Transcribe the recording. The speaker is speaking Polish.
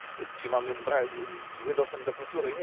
Czy mamy zły dostęp do kultury?